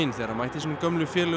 þegar hann mætti sínum gömlu félögum